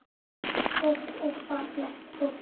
Allt gott og fallegt fólk.